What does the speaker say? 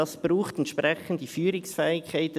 Das braucht entsprechende Führungsfähigkeiten.